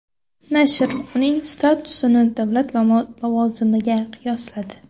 Nashr uning statusini davlat lavozimiga qiyosladi.